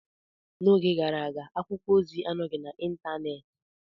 N'oge gara aga, akwụkwọ ozi anọghị n'Ịntanet.